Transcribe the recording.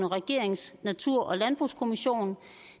regerings natur og landbrugskommission